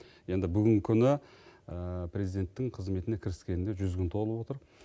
енді бүгінгі күні президенттің қызметіне кіріскеніне жүз күн толып отыр